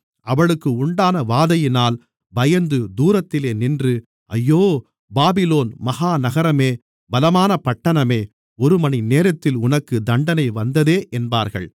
அவளுக்கு உண்டான வாதையினால் பயந்து தூரத்திலே நின்று ஐயோ பாபிலோன் மகா நகரமே பலமான பட்டணமே ஒருமணிநேரத்தில் உனக்கு தண்டனை வந்ததே என்பார்கள்